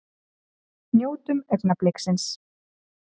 Njótum augnabliksins!